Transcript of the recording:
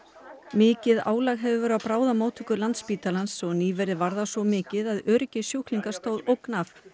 mikið álag hefur verið á bráðamóttöku Landspítalans og nýverið var það svo mikið að öryggi sjúklinga stóð ógn af